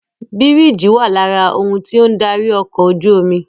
Bírìjì wà lára ohun tí ó ń darí ọkọ̀ ojú omi